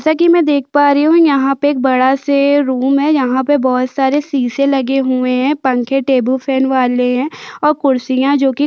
जैसा की मै देख पा रही हूँ यहाँ पे एक बड़ा से रूम है जहां पे बहोत सारे शीशे लगे हुए हैं पंखे टेबल फैन वाले है और खुरसिया जोकी--